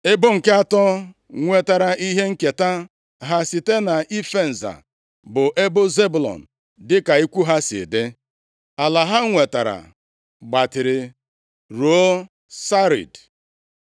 Ebo nke atọ nwetara ihe nketa ha site nʼife nza bụ ebo Zebụlọn dịka ikwu ha si dị. Ala ha nwetara gbatịrị ruo Sarid.